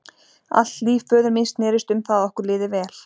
Allt líf föður míns snerist um það að okkur liði vel.